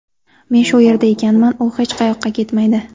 Men shu yerda ekanman, u hech qayoqqa ketmaydi.